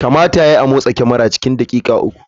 Kamata ya yi a motsa kamara cikin daƙiƙa uku.